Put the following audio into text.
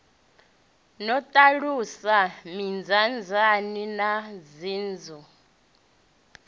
no ṱalusa mindaandaane na nzunzu